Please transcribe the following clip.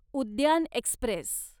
उद्यान एक्स्प्रेस